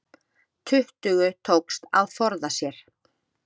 Tuttugu tókst að forða sér